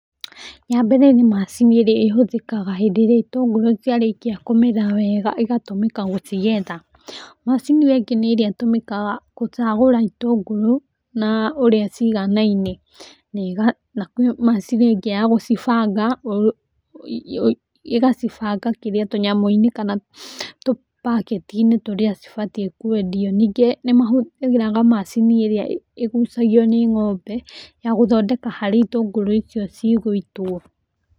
Ya mbere nĩ macini ĩrĩa ĩhũthĩkaga hĩndĩ ĩrĩa itũngũrũ ciarĩkia kũmera wega ĩgatũmĩka gũcigetha. Macini ĩyo ĩngĩ nĩ ĩrĩa ĩtũmĩkaga gũcagũra itũngũrũ na ũrĩa ciganaine, na na kwĩ macini ĩngĩ ya gũcibanga, ĩgacibanga kĩrĩa tũnyamũ-inĩ kana tũpaketi-inĩ tũrĩa cibatiĩ kwendio. Ningĩ nĩ mahũthĩraga macini ĩrĩa ĩgucagio nĩ ng'ombe, ya gũthondeka harĩa itũngũrũ icio cigũitwo.